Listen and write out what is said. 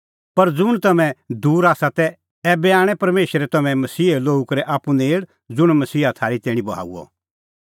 पर ज़ुंण तम्हैं दूर आसा तै ऐबै आणै परमेशरै तम्हैं मसीहे लोहू करै आप्पू नेल़ ज़ुंण मसीहा थारी तैणीं बहाऊअ